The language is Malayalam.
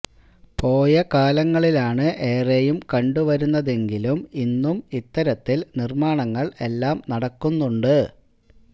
പോയ കാലങ്ങളിലാണ് ഏറെയും കണ്ടു വരുന്നതെങ്കിലും ഇന്നും ഇത്തരത്തില് നിര്മ്മാണങ്ങള് എല്ലാം നടക്കുന്നുണ്ട്